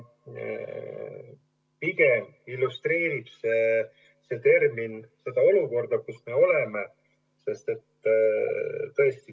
Pigem illustreerib see seda olukorda, kus me oleme.